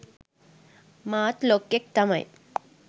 මාත් ලොක්කෙක් තමයි